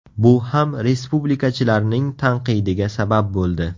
Bu ham respublikachilarning tanqidiga sabab bo‘ldi.